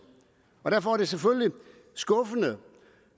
derfor er det selvfølgelig skuffende